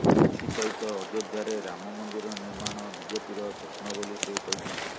ଏଥିସହିତ ଅଯୋଧ୍ୟାରେ ରାମ ମନ୍ଦିର ନିର୍ମାଣ ବିଜେପିର ସ୍ୱପ୍ନ ବୋଲି ସେ କହିଛନ୍ତି